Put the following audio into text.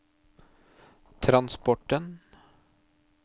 transporten